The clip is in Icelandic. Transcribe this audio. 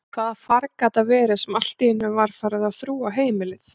Hvaða farg gat það verið sem alltíeinu var farið að þrúga heimilið?